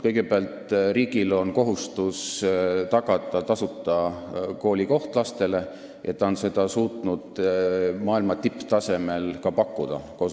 Kõigepealt, riigil on kohustus tagada lapsele tasuta koolikoht ja ta on seda koos omavalitsusega suutnud maailma tipptasemel ka pakkuda.